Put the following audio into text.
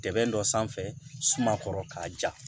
Dɛmɛn dɔ sanfɛ sumakɔrɔ k'a ja